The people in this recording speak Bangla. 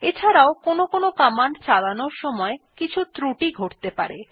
এছাড়াও কোনো কমান্ড চানালোর সময় কিছু ত্রুটি ঘটতে পারে